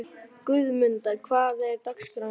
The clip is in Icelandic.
Guðmunda, hvernig er dagskráin í dag?